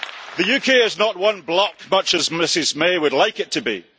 The UK is not one bloc, much as Mrs May would like it to be